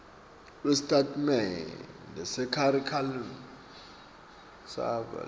lwesitatimende sekharikhulamu savelonkhe